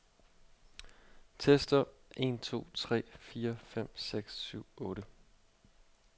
Tester en to tre fire fem seks syv otte.